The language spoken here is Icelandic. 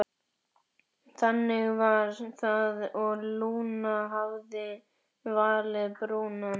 Þannig var það og Lúna hafði valið Brúnan.